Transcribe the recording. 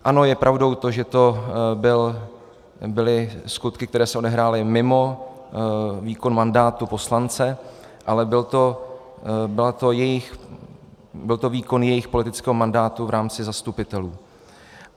Ano, je pravdou to, že to byly skutky, které se odehrály mimo výkon mandátu poslance, ale byl to výkon jejich politického mandátu v rámci zastupitelů.